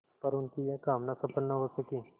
पर उनकी यह कामना सफल न हो सकी